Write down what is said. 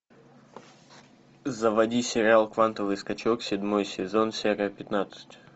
заводи сериал квантовый скачок седьмой сезон серия пятнадцать